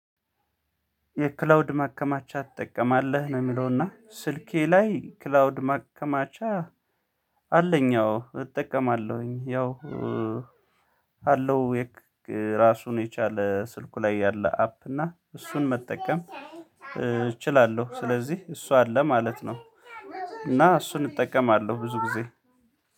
የክላውድ ማከማቻ ትጠቀማለህ ነው። የሚለውና ስልኬ ላይ ክላውድ ማከማቻ። አለኝ አዎ እጠቀማለሁኝ ያው ካለው ራሱን የቻለ ስልኩ ላይ ያለ አፕ እና እሱን መጠቀም እችላለሁ ስለዚህ እሱ አለ ማለት ነው። እና እሱን እጠቀማለሁ ብዙ ጊዜ።